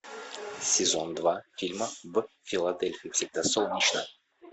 сезон два фильма в филадельфии всегда солнечно